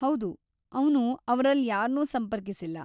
ಹೌದು, ಅವ್ನು ‌ಅವ್ರಲ್ಯಾರ್ನೂ ಸಂಪರ್ಕಿಸಿಲ್ಲ.